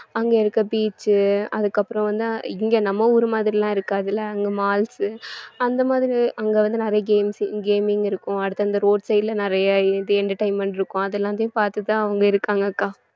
அங்க இருக்க beach உ அதுக்கப்புறம் வந்து இங்க நம்ம ஊர் மாதிரிலாம் இருக்காதல்ல அங்க malls அந்த மாதிரி அங்க வந்து நிறைய games gaming இருக்கும் அடுத்து அந்தந்த road side ல நிறைய இது entertainment இருக்கும் அது எல்லாத்தையும் பார்த்துட்டுதான் அவங்க இருக்காங்க அக்கா